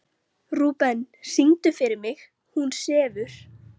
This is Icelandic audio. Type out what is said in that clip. Rúben, syngdu fyrir mig „Hún sefur“.